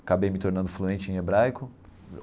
Acabei me tornando fluente em hebraico.